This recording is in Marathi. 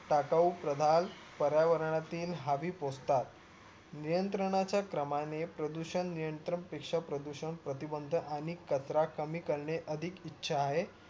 टाकाऊ पदार्थ पर्यावरणातील हवी पोचतात नियंत्रणांच्या क्रमाने प्रदूषण नियंत्रण पेक्ष्या प्रदूषण प्रतिबंध आणि कचरा कमी करणे अधिक ईच्या आहे